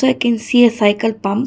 i can see a cycle pump.